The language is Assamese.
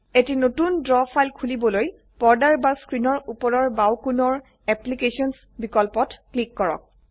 এটি নতুন দ্ৰৱ ফাইল খুলিবলৈ পৰ্দাৰ বা স্ক্ৰীনৰ উপৰৰ বাঁও কোণৰ অ্যাপ্লিকেশনস বিকল্পত ক্লিক কৰক